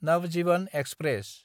Navjivan express